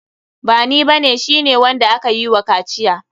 Bani ba ne, shi ne wanda akayi wa kaciya.